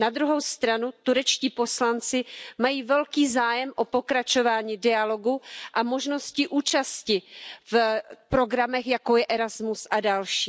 Na druhou stranu turečtí poslanci mají velký zájem o pokračování dialogu a možnosti účasti v programech, jako je Erasmus a další.